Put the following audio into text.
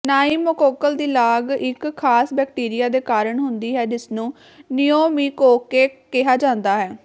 pneumococcal ਦੀ ਲਾਗ ਇੱਕ ਖਾਸ ਬੈਕਟੀਰੀਆ ਦੇ ਕਾਰਨ ਹੁੰਦੀ ਹੈ ਜਿਸਨੂੰ ਨਿਊਮੀਕੋਕੇਕ ਕਿਹਾ ਜਾਂਦਾ ਹੈ